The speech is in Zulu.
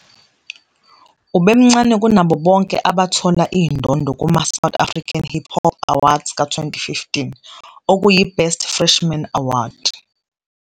Ubemncane kunabo bonke abathola indondo kuma- South African Hip Hop Awards ka -2015, okuyi-Best Freshman Award.